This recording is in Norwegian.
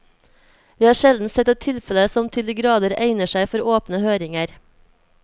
Vi har sjelden sett et tilfelle som til de grader egner seg for åpne høringer.